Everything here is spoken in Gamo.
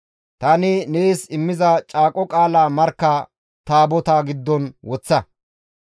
Tani nees immiza caaqo qaala markka taabotaa giddon woththa.